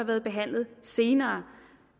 været behandle senere